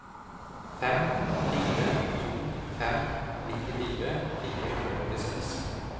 fem fire to fem nittifire fire hundre og åttiseks